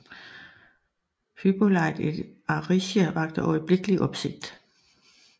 Hippolyte et Aricie vakte øjeblikkelig opsigt